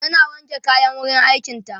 tana wanke kayan wurin aikin ta